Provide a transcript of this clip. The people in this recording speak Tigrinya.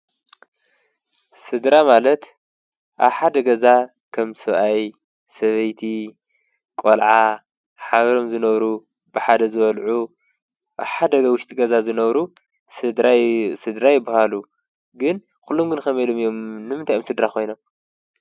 ስድራ ማለት ኣብ ሓደ ገዛ ኸም ሰብኣይን ሰበይቲ ቈልዓ ሓብሮም ዝነብሩ ብሓደ ዝበልዑ ኣብ ሓደ ውሽጢ ገዛ ዝነብሩ ስድራ ይብሃሉ። ግን ኲሎም ግን ከመይ ኢሉም እዮም ንምንታይ እየም ስድራ ኾይኖ?